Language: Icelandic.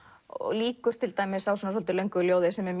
lýkur til dæmis á svolítið löngu ljóði sem er